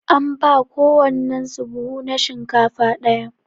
An ba kowannen su buhu na shinkafa daya.